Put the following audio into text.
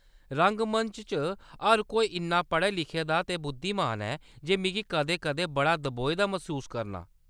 रंगमंच च हर कोई इन्ना पढ़े-लिखे दा ते बुद्धिमान ऐ, जे मिगी कदें-कदें बड़ा दबोए दा मसूस करनां ।